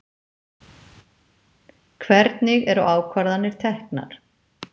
Hvernig eru ákvarðanir teknar?